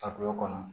Fakulɔ kɔnɔ